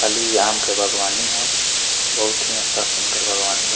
खाली इ आम के बागवानी ह बहुत ही अच्छा सुन्दर बागबानी बा।